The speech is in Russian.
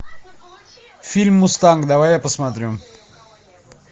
фильм мустанг давай я посмотрю